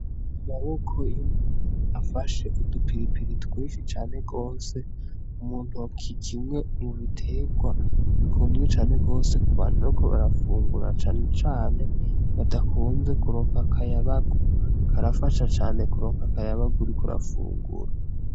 Amaboko y'umuntu afashe udupiripiri twinsi cane rwose umuntu wakikimwe mubiterwa bikunzwe cane rwose ku bantu no ko barafungura cane cane badakunze kuroka akayabagu karafasha cane kuroka akayabaguri kurafungura.